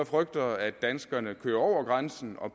frygter at danskerne så bare kører over grænsen og